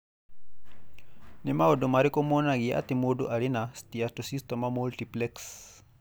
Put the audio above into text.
Nĩ maũndũ marĩkũ monanagia atĩ mũndũ arĩ na Steatocystoma multiplex?